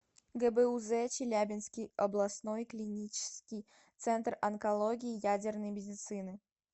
гбуз челябинский областной клинический центр онкологии и ядерной медицины